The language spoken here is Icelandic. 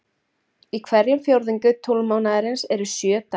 Í hverjum fjórðungi tunglmánaðarins eru um sjö dagar.